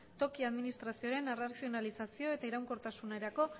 toki administrazioaren arrazionalizazio eta iraunkortasunerako